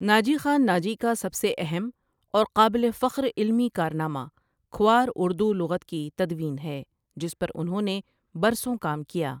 ناجی خان ناجی کا سب سےاہم اورقابل فخرعلمی کارنامہ کھوار اردو لغت کی تدوین ہے جس پر انہوں نےبرسوں کام کیا ۔